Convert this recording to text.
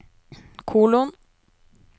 kolon